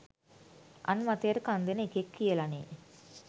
අන් මතයට කන් දෙන එකෙක් කියලනේ